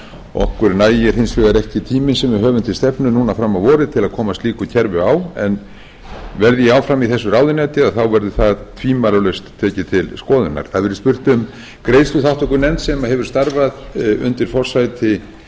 okkur nægir hins vegar ekki tíminn sem við höfum til stefnu núna fram á vorið til að koma slíku kerfi á en verði ég áfram í þessu ráðuneyti verður það tvímælalaust tekið til skoðunar það hefur verið spurt greiðsluþátttökunefnd sem hefur starfað undir forsæti